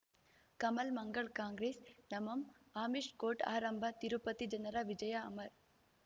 ಕಮಲ್ ಮಂಗಳ್ ಕಾಂಗ್ರೆಸ್ ನಮಂ ಅಮಿಷ್ ಕೋರ್ಟ್ ಆರಂಭ ತಿರುಪತಿ ಜನರ ವಿಜಯ ಅಮರ್